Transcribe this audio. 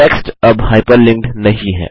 text अब hyperlinked नहीं है